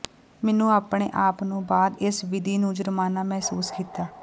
ਮੈਨੂੰ ਆਪਣੇ ਆਪ ਨੂੰ ਬਾਅਦ ਇਸ ਵਿਧੀ ਨੂੰ ਜੁਰਮਾਨਾ ਮਹਿਸੂਸ ਕੀਤਾ